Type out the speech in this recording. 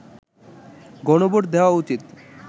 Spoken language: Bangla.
গণভোট দেয়া উচিৎ